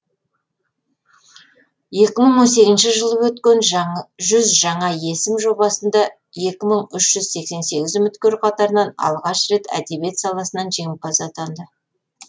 екі мың он сегізінші жылы өткен жүз жаңа есім жобасында екі мың үш жүз сексен сегіз үміткер қатарынан алғаш рет әдебиет саласынан жеңімпаз атанды